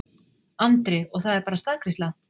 Andri: Og það er bara staðgreiðsla?